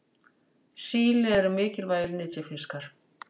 Síli eru mikilvægir nytjafiskar.